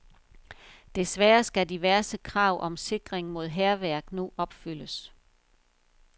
Desværre skal diverse krav om sikring mod hærværk nu opfyldes.